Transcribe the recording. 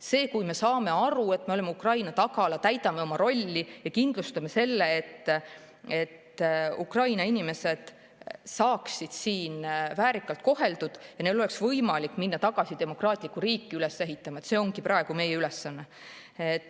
See, et me saame aru, et me oleme Ukraina tagala, täidame oma rolli ja kindlustame selle, et Ukraina inimesed saaksid siin väärikalt koheldud ja neil oleks võimalik minna tagasi oma demokraatlikku riiki üles ehitama, ongi praegu meie ülesanne.